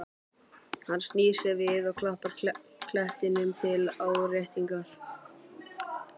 Hann snýr sér við og klappar klettinum til áréttingar.